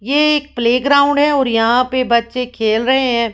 ये एक प्लेग्राउंड है और यहां पे बच्चे खेल रहे हैं।